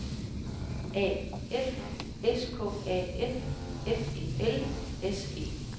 A F S K A F F E L S E